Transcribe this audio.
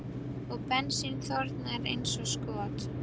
Og bensín þornar eins og skot.